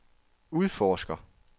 udforsker